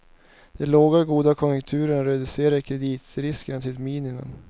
Den långa och goda konjunkturen reducerade kreditriskerna till ett minimum.